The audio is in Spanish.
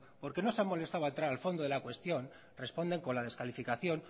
porque no se han molestado a entrar al fondo de la cuestión responden con la descalificación